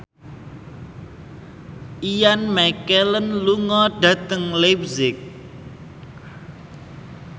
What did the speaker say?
Ian McKellen lunga dhateng leipzig